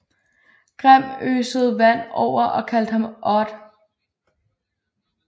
Grim øsede vand over og kaldte ham Odd